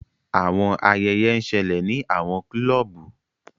Awọn ayẹyẹ n ṣẹlẹ ni awọn clubu.